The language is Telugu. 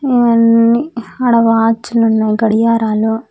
ఇవ్వని ఆడ వాచ్ లున్నాయి గడియారాలు.